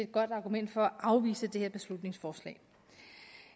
godt argument for at afvise det her beslutningsforslag